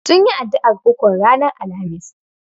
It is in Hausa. Sunyi addu'ar ukun ranar Alhamis.